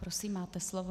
Prosím, máte slovo.